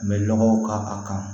N bɛ nɔgɔw k'a kan